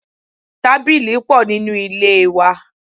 Tábìlì pò nínú ilé wa.